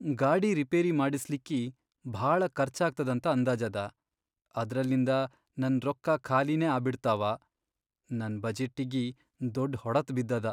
ಗಾಡಿ ರಿಪೇರಿ ಮಾಡಸ್ಲಿಕ್ಕಿ ಭಾಳ ಖರ್ಚಾಗ್ತದಂತ ಅಂದಾಜದ, ಅದ್ರಲಿಂದ ನನ್ ರೊಕ್ಕಾ ಖಾಲಿನೇ ಆಬಿಡ್ತಾವ. ನನ್ ಬಜೆಟ್ಟಿಗಿ ದೊಡ್ ಹೊಡತ್ ಬಿದ್ದದ.